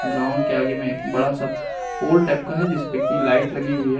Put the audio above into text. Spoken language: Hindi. ग्राउंड के आगे में एक बड़ा सा पोल टाइप का है जिसपे कि लाइट लगी हुई है।